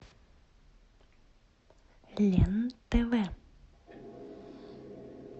лен тв